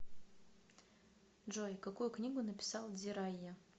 джой какую книгу написал дзирайя